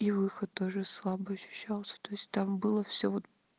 и выход тоже слабый ощущался то есть там было все вот